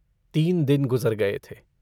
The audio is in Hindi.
तीन दिन गुजर गये थे।